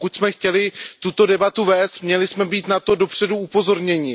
Pokud jsme chtěli tuto debatu vést, měli jsme být na to dopředu upozorněni.